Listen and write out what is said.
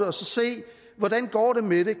og se hvordan det går med det